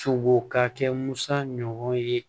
Sogo ka kɛ musa ɲɔgɔn ye